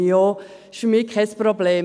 Es ist für mich kein Problem.